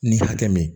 Ni hakɛ min ye